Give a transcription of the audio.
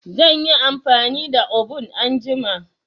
Zan yi amfani da obun anjima.